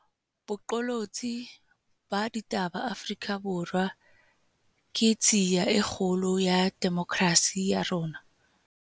Boqolotsi ba ditaba Afrika Borwa ke tshiya e kgolo ya demokrasi ya rona